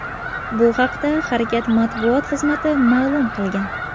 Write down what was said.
Bu haqda harakat matbuot xizmati ma’lum qilgan .